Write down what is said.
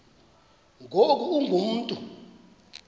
ngoku ungu mntu